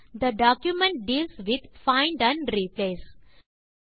they document deals with find and replace